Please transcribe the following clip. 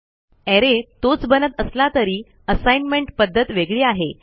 arrayतोच बनत असला तरी असाईनमेंट पध्दत वेगळी आहे